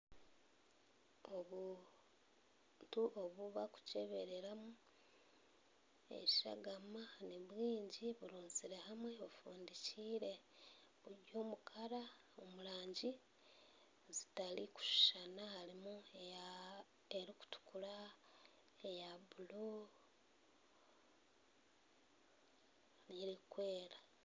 Obuntu obubarikucebereramu eshagama nibwingi burunzire hamwe bufundikiire buri omurangi zitarikushushana harimu erikutukura eya blue nerikwera